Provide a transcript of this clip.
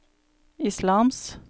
islams